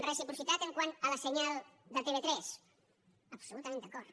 reciprocitat pel que fa al senyal de tv3 absolutament d’acord